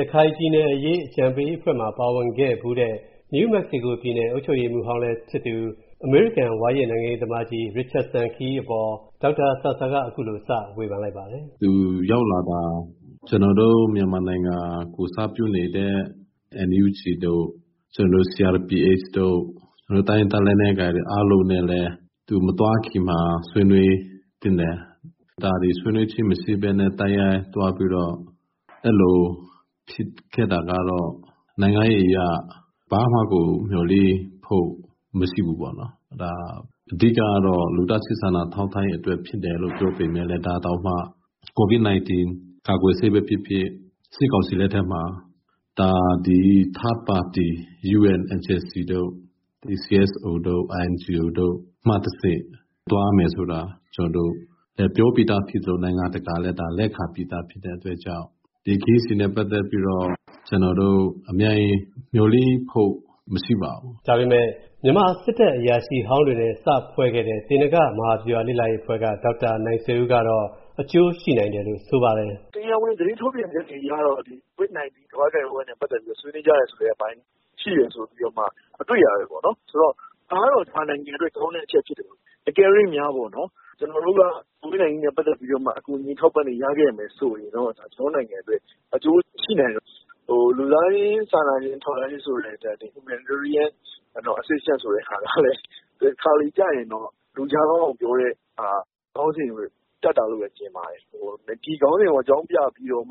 ရခိုင်ပြည်နယ်အရေး အကြံပေးအဖွဲ့မှာ ပါဝင်ခဲ့ဘူးသူ နယူးမက္ကဆီကိုပြည်နယ် အုပ်ချုပ်ရေးမှူး အမေရိကန်ဝါရင့်နိုင်ငံရေးသမားကြီး Bill Richardson ခရီးအပေါ် ဒေါက်တာဆာဆာ က အခုလိုစဝေဖန်လိုက်ပါတယ်။ ဒေါက်တာ ဆာဆာ ။. ။ ကျနော်တို့ မြန်မာနိုင်ငံ ကိုယ်စားပြုနေတဲ့ NUG တု့ိ CRPHတို့နဲ့လည်း သူမသွားခင်မှာ ဆွေးနွေးသင့်တယ်။ ဒါတွေဆွေးနွေးခြင်းမရှိပဲနဲ့ ဒီအတိုင်းသွားပြီးတော့ အဲဒီလိုဖြစ်တာဟာ ဘာမှမျှော်လင့်ဖို့မရှိဘူးပေါ့။ လူသားချင်းစာနာထောက်ထားရေးအတွက်ဖြစ်တယ်လို့ ပြောပေမယ့် ကိုဗစ်ကာကွယ်ဆေးပဲဖြစ်ဖြစ် အဲဒါတွေကို စစ်ကောင်စီလက်ထက်မှာ UN တို့ INGOတို့ CSO တို့ကနေ သွားမယ်ဆိုတာပြောပြီးသား။ နိုင်ငံတကာလည်း လက်ခံပြီးသားဖြစ်တဲ့အတွက်ကြောင့် ဒီခရီးစဉ်နဲ့ပါတ်သက်ပြီးတော့ မျှော်လင့်ဖို့မရှိပါဘူး။ ကိုဝင်းမင်း ။. ။ ဒါပေမယ့် မြန်မာစစ်တပ်အရာရှိဟောင်းတွေနဲ့ စဖွဲ့ခဲ့တဲ့ သေနင်္ဂမဟာဗျူဟာ လေ့လာရေးအဖွဲ့က ဒေါက်တာနိုင်ဆွေဦး ကတော့ အကျိုးရှိနိုင်တယ်လို့ဆိုပါတယ်။ ဒေါက်တာ နိုင်ဆွေဦး ။. ။ တရားဝင်သတင်းထုတ်ပြန်ချက်တွေအရတော့ ကိုဗစ်နိုင်တီးနဲ့ပတ်သက်ပြီးဆွေးနွေးကြတယ်လို့သိရတယ်။ တကယ်လို့များ ကိုဗစ်နိုင်တင်း နဲ့ပတ်သက်ပြီးတော့ အကူညီတွေရနိုင်ရင် အကျိုးရှိနိုင်တယ်။ လူသားချင်းစာနာမှုဆိုတဲ့ ခေါင်းစဉ်ကတော့ တခါတလေကြရင် လူကြားကောင်းအောင်တပ်တာလို့မြင်ပါတယ်။ ဒီခေါင်းစဉ်ကို အကြောင်းပြပြီးတော့